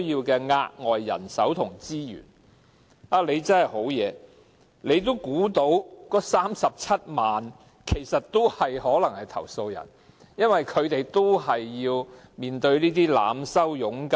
局長真的很厲害，他已估計到為數37萬的外傭可能成為投訴人，因為她們都被濫收佣金。